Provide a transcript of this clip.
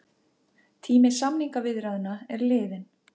Tími samningaviðræðna liðinn